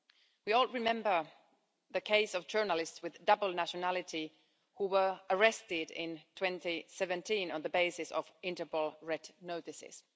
We all remember the case of journalists with dual nationality who were arrested in 2017 on the basis of Interpol red notices.